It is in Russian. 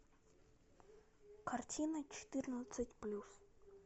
картина четырнадцать плюс